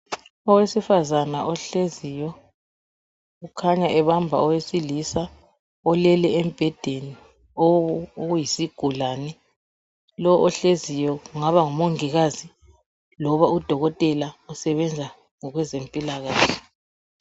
Owesifazana ohleziyo ukhanya ebamba owesilisa olele embhedeni oyisigulane .Lo ohleziyo kungaba ngu Mongikazi loba uDokotela usebenza ngokwe zempilakahle.